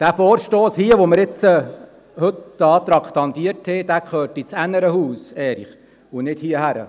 Der Vorstoss hier, den wir heute traktandiert haben, gehört ins andere Haus, Erich, und nicht hierhin.